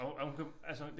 Og hun og hun kan altså